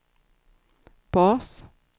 bas